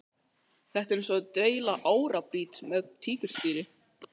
Þetta er eins og að deila árabát með tígrisdýri.